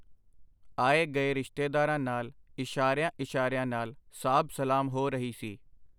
ਆਏ ਗਏ ਰਿਸ਼ਤੇਦਾਰਾਂ ਨਾਲ ਇਸ਼ਾਰਿਆਂ ਇਸ਼ਾਰਿਆਂ ਨਾਲ ਸਾਬ ਸਲਾਮ ਹੋ ਰਹੀ ਸੀ.